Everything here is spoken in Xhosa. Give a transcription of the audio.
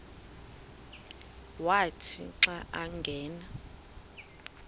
wathi xa angena